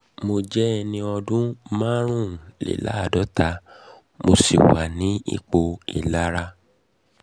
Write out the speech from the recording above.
mo jẹ́ ẹni ọdún márùnléláàádọ́ta mo sì wà ní ipò ìlera